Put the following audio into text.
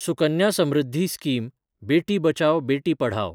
Sukanya Samriddhi scheme – Beti Bachao Beti Padhao